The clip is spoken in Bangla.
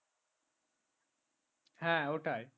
হ্যাঁ ওটাই